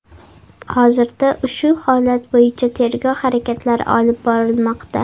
Hozirda ushu holat bo‘yicha tergov harakatlari olib borilmoqda.